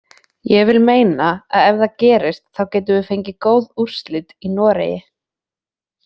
Ég vil meina að ef það gerist þá getum við fengið góð úrslit í Noregi.